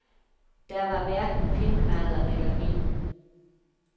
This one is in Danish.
Der var hverken pindemadder eller vin.